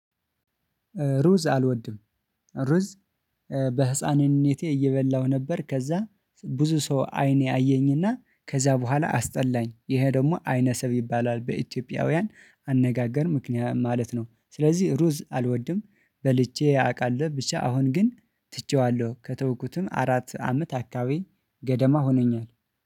ሩዝ አልወድም። ሩዝ በህፃንነቴ እየበላሁ ነበር። ከዛ ብዙ ሰው አይኔ አየኝና ከዛ በኋላ አስጠላኝ ይሄ ደግሞ አይነሰብ ይባላል በኢትዮጵያውያን አነጋገር ምክንያት ማለት ነው። ስለዚህ ሩዝ አልወድም በልቼ አውቃለሁ። ብቻ አሁን ግን ትቼዋለሁ ከተውኩትም አራት አመት አካባቢ ገደማ ሆኖኛል